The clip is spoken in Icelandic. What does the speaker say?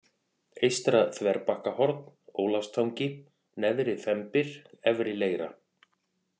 Eystra-Þverbakkahorn, Ólafstangi, Neðri-Þembir, Efri-Leira